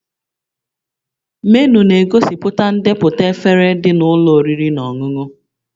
Menu na-egosipụta ndepụta efere dị na ụlọ oriri na ọṅụṅụ